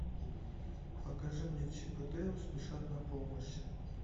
покажи мне чип и дейл спешат на помощь